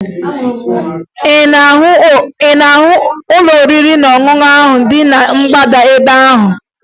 Ị na-ahụ ụlọ oriri na ọṅụṅụ ahụ dị na mgbada ebe ahụ?